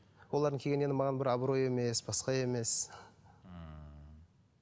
олардың келгені енді маған абырой емес басқа емес